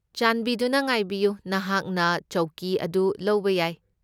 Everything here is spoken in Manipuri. ꯆꯥꯟꯕꯤꯗꯨꯅ ꯉꯥꯏꯕꯤꯌꯨ, ꯅꯍꯥꯛꯅ ꯆꯧꯀꯤ ꯑꯗꯨ ꯂꯧꯕ ꯌꯥꯏ꯫